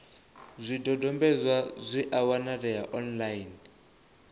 zwidodombedzwa zwi a wanalea online